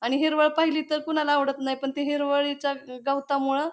आणि हिरवळ पाहिली तर कुणाला आवडत नाही पण त्या हिरवळीच्या गवतामुळे--